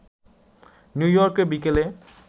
নিউইয়র্কের বিকেলে